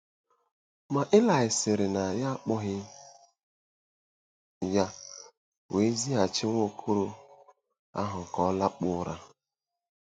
Ma Ilaị sịrị na ya akpọghị ya wee zighachi nwa okoro ahụ ka ọ lakpuo ụra.